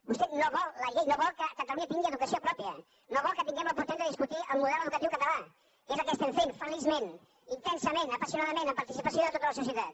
vostè no vol la llei no vol que catalunya tingui educació pròpia no vol que tinguem l’oportunitat de discutir el model educatiu català que és el que estem fent feliçment intensament apassionadament amb participació de tota la societat